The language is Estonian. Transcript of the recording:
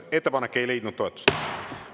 Ettepanek ei leidnud toetust.